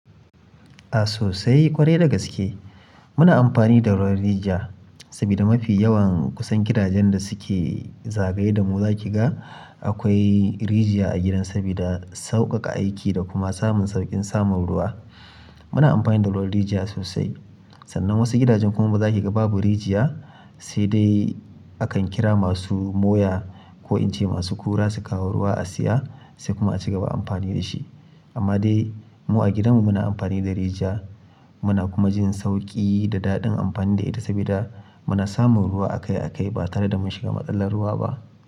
A sosai kwarai dagaske. Muna amfani da ruwan rijiya sabida mafi yawan kusan gidajen da suke zagaye da mu za ki ga akwai rijiya a gidan sabida sauƙaƙa aiki da kuma samun sauƙin samun ruwa. Muna amfani da ruwan rijiya sosai. Sannan wasu gidajen kuma bazaki ga babu rijiya, sai dai akan kira masu moya ko in ce masu kura su kawo ruwa a siya sai kuma a cigaba amfani da shi. Amma dai mu a gidanmu muna amfani da rijiya muna kuma jin sauƙi da daɗin amfani da ita sabida muna samun ruwa akai-akai ba tare da mun shiga matsalar ruwa ba.